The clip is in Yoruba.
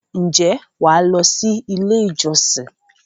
ǹjẹ́ wà á lọ sí “ ilé-ìjọsìn ”?